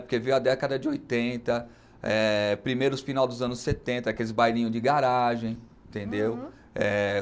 Porque veio a década de oitenta, é primeiro final dos anos setenta, aqueles bailinhos de garagem, entendeu? é